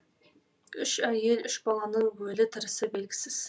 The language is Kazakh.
үш әйел үш баланың өлі тірісі белгісіз